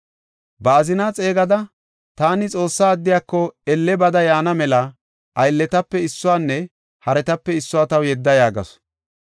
Ba azina xeegada, “Taani Xoossa addiyako elle bada yaana mela, aylletape issuwanne haretape issuwa taw yedda” yaagasu.